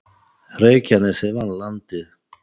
Reykjanesið vann Landið